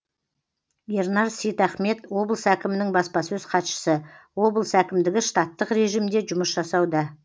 ернар сейтахмет облыс әкімінің баспасөз хатшысы облыс әкімдігі штаттық режимде жұмыс жасауда